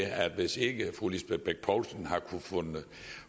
at hvis ikke fru lisbeth bech poulsen har kunnet